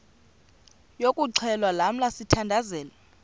yokuxhelwa lamla sithandazel